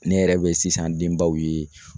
Ne yɛrɛ bɛ sisan denbaw ye